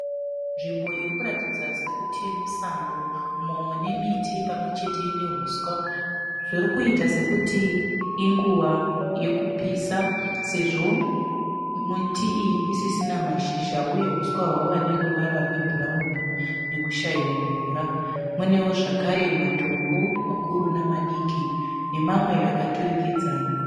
Nzvimbo irikuratidza sekuti musango. Umo mune miti pamwe chete nehuswa. Zvirikuita sekuti inguva yeku pisa. Sezvo miti iyi isisina mashizha uye huswa hwave neruvara rwe bhurauni nekushaiwa mvura. Munewo zvakare matombo makuru nema diki, nemamwe akaturikidzana.